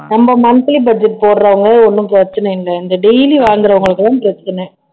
நம்ம monthly budget போடுறவங்க ஒண்ணும் பிரச்சனை இல்லை இந்த daily வாங்குறவங்களுக்குதான் பிரச்சனை